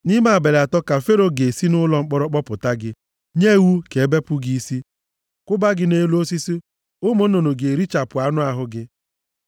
Nʼime abalị atọ ka Fero ga-esi nʼụlọ mkpọrọ kpọpụta gị, nye iwu ka e bepụ gị isi, kwụba gị nʼelu osisi. Ụmụ nnụnụ ga-erichapụ anụ ahụ gị.”